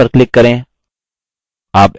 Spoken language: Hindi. align पर click करें